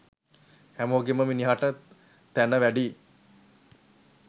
හැමෝගෙන්ම මිනිහට තැන වැඩියි.